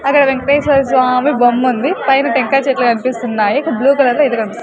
అక్కడ వేంకటేశ్వర స్వామి బొమ్ముంది పైన టెంకాయ చెట్లు కనిపిస్తున్నాయి ఇక బ్లూ కలర్ లో ఏదో కనిపిస్ --